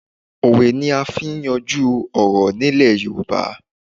Òwe ni à n fi n yanjú ọ̀rọ̀ní Ilẹ̀ Yorùbá